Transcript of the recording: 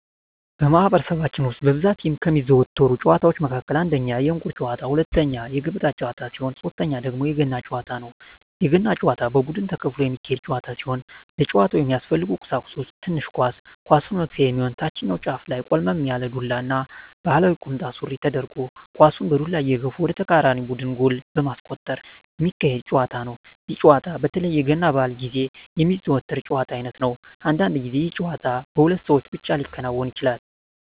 በማህበረሰባችን ውስጥ በብዛት ከሚዘወተሩ ጨዋታወች መካከል አንደኛ የእንቁር ጨዋታ፣ ሁለተኛ የገበጣ ጨዋታ ሲሆን ሶተኛው ደግሞ የገና ጨዋታ ነው። የገና ጨዋታ በቡድን ተከፍሎ የሚካሄድ ጨዋታ ሲሆን ለጨዋታው የሚያስፈልጉ ቀሳቁሶች ትንሽ ኳስ፣ ኳሷን መግፊያ የሚሆን ታችኛው ጫፉ ላይ ቆልመም ያለ ዱላ እና ባህላዊ ቁምጣ ሱሪ ተደርጎ ኳሳን በዱላ እየገፉ ወደ ተቃራኒ ቡድን ጎል በማስቆጠር ሚካሄድ ጨዋታ ነው። ይህ ጨዋታ በተለይ የገና በአል ግዜ የሚዘወተር የጨዋታ አይነት ነው። አንዳንድ ግዜ ይህ ጨዋታ በሁለት ሰው ብቻ ሊከናወን ይችላል።